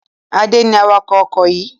Adé ni awakọ̀ ọkọ̀ yìí.